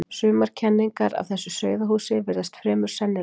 Sumar kenningar af þessu sauðahúsi virðast fremur sennilegar.